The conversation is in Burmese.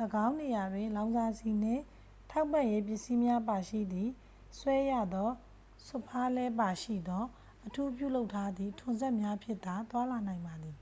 ၎င်းနေရာတွင် လောင်စာဆီနှင့် ထောက်ပံ့ရေး ပစ္စည်းများပါရှိသည့် ဆွဲရသောစွတ်ဖားလှည်းပါရှိသော အထူးပြုလုပ်ထားသည့် ထွန်စက်များဖြင့်သာ သွားလာနိုင်ပါသည်